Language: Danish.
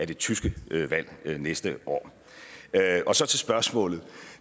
det tyske valg næste år så til spørgsmålet